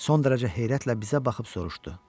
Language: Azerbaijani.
Son dərəcə heyrətlə bizə baxıb soruşdu: